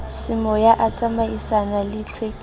semoya a tsamaisanang le tlhwekiso